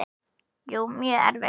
Jú, mjög erfitt.